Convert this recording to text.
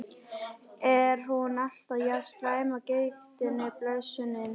Er hún alltaf jafn slæm af gigtinni, blessunin?